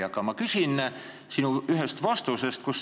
Aga ma küsin sinu ühe vastuse põhjal.